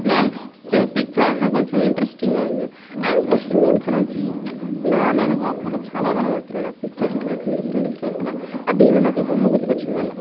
Next picture కొంచం interesting గా ఉంటుంది అండ్ ప్రెజెంట్ ఇక్కడ నుంచి లర్న్ అని కాదు కానీ చాలా కనుపడుతున్నాయి నాకు ఫీచర్స్ ఇట్లా డీఫెరెంట్ డీఫెరెంట్ గా ఆ దేవుని బొమ్మ గుర్తుకొచ్చింది మల్ల.